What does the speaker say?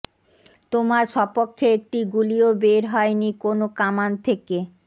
তোমার সপক্ষে একটি গুলিও বের হয়নি কোনো কামান থেকে